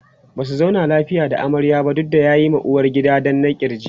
Basu zauna lafiya da amaryar ba duk da ya ma uwargidan danna kirki